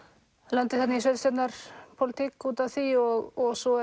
lendi þarna í sveitarstjórnarpólitík út af því og svo